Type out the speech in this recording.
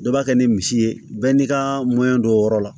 Dɔ b'a kɛ ni misi ye bɛɛ n'i ka don o yɔrɔ la